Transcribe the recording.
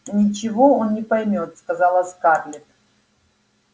ничего он не поймёт сказала скарлетт